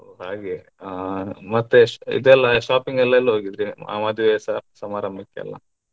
ಹಾಗೆ ಹ ಹ ಮತ್ತೆ ಇದೆಲ್ಲ shopping ಎಲ್ಲ ಎಲ್ಲ್ ಹೋಗಿದ್ರಿ ಆ ಮದುವೆ ಸ~ ಸಮಾರಂಭಕ್ಕೆ ಎಲ್ಲ.